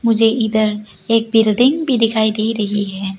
मुझे इधर एक बिल्डिंग भी दिखाई दे रही है।